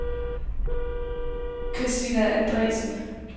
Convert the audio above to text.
Kristina Andresen